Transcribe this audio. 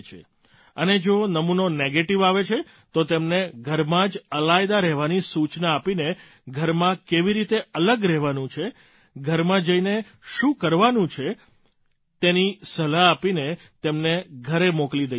અને જો નમૂનો નેગેટીવ આવે છે તો તેમને ઘરમાં જ અલાયદા રહેવાની સૂચના આપીને ઘરમાં કેવી રીતે અલગ રહેવાનું છે ઘરમાં જઇને શું કરવાનું છે તેની સલાહ આપીને તેમને ઘરે મોકલી દઇએ છીએ